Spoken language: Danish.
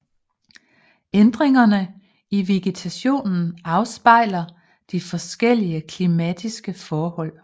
Ændringerne i vegetationen afspejler de forskellige klimatiske forhold